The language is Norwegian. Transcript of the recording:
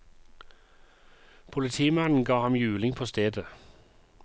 Politimannen ga ham juling på stedet.